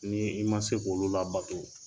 N'i i ma se k'olu labato